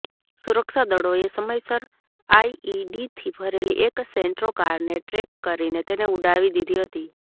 સુરક્ષા દળોએ સમયસર આઇઇડીથી ભરેલી એક સેન્ટ્રો કારને ટ્રેક કરીને તેને ઉડાવી દીધી હતી